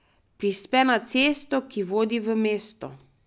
Prispe na cesto, ki vodi v mesto.